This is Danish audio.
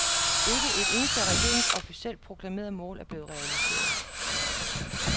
Ikke et eneste af regeringens officielt proklamerede mål er blevet realiseret.